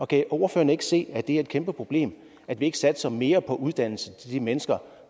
kan ordføreren ikke se at det er et kæmpe problem at vi ikke satser mere på uddannelse til de mennesker